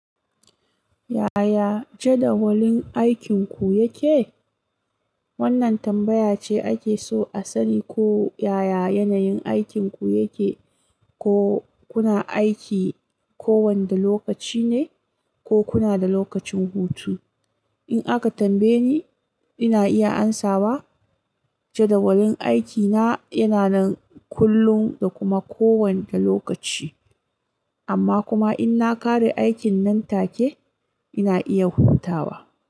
Yaya jadawalin aikinku yake? Wannan tambaya ce ake so a sani ko yaya yanayin aikinku yake, ko kuna aiki kowane lokaci ne ko kuna da lokacin hutu. In aka tambaye ni, ina iya amsawa jadawalin aikina yana nan kullum da kuma kowane lokaci. Amma kuma in na ƙare aikin nan take ina iya hutawa.